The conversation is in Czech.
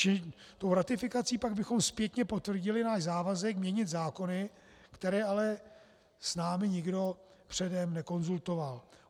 Čili tou ratifikací pak bychom zpětně potvrdili náš závazek měnit zákony, které ale s námi nikdo předem nekonzultoval.